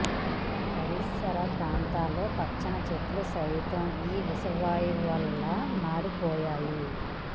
పరిసర ప్రాంతాల్లో పచ్చని చెట్లు సైతం ఈ విష వాయువుల వల్ల మాడిపోయాయి